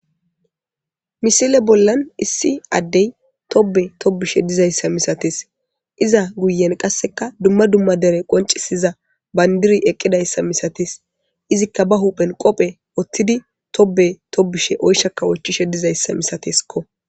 misile bollan issi addey tobe tobishe dizayssa misatees iza guyen qasseka dumma dumma dere qoncisiza bayndiri eqqidayssa misates izikka ba huphen qophe oththidi tobe tobushe oyshakka ochishe dizayssa misateskko